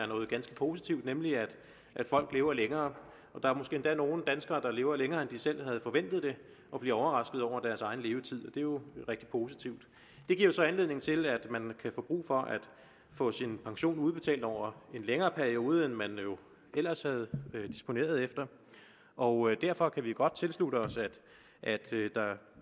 noget ganske positivt nemlig at folk lever længere og der er måske endda nogle danskere der lever længere end de selv havde forventet og bliver overrasket over deres egen levetid det er jo rigtig positivt det giver så anledning til at man kan få brug for at få sin pension udbetalt over en længere periode end man ellers havde disponeret efter og derfor kan vi godt tilslutte os at der